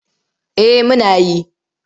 Eh muna yi.